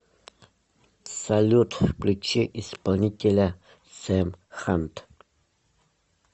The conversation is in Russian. салют включи исполнителя сэм хант